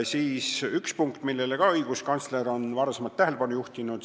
Nüüd ühest punktist, millele ka õiguskantsler on tähelepanu juhtinud.